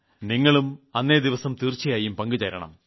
നിങ്ങളും അന്നേദിവസം തീർച്ചയായും പങ്ക് ചേരണം